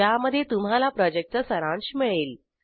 ज्यामध्ये तुम्हाला प्रॉजेक्टचा सारांश मिळेल